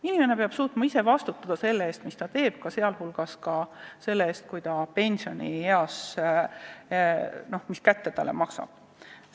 Inimene peab suutma vastutada selle eest, mida ta teeb, ka selle eest, kui tööealisena tehtud otsused talle pensionieas kätte maksavad.